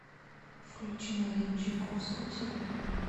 включи марию чайковскую целуй меня